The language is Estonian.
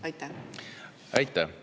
Aitäh!